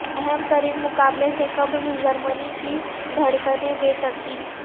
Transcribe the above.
اہم ترین مقابلے سے قبل جرمنی کی دھڑکنیں بے ترتیب